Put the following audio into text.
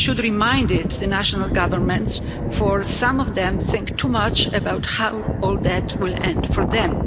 We should remind the national governments for some of them think too much about how all this will end for them.